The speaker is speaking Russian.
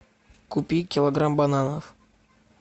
купи килограмм бананов